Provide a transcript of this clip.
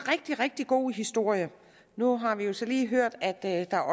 rigtig rigtig god historie nu har vi jo så lige hørt at der